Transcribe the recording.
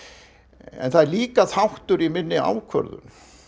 en það er líka þáttur í minni ákvörðun